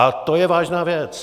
A to je vážná věc.